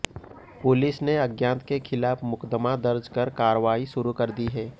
police ने अज्ञात के खिलाफ मुकदमा दर्ज कर कार्रवाई शुरू कर दी है